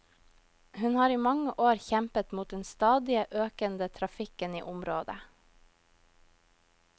Hun har i mange år kjempet mot den stadige økende trafikken i området.